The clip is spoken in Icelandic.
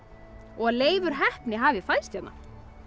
og að Leifur heppni hafi fæðst hérna